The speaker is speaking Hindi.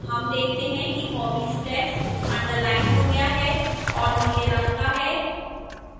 हम देखते हैं कि hobbies text underlined हो गया है और नीले रंग का है